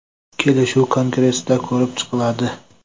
Kelishuv kongressda ko‘rib chiqiladi.